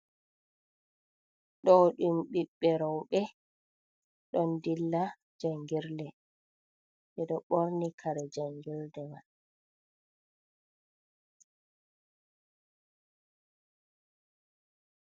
Ɗo ɗum ɓiɓɓe roɓe ɗon dilla jangirde jeɗo ɓorni kare jangirde man.